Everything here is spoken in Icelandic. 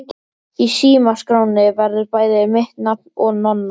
Í símaskránni verður bæði mitt nafn og Nonna.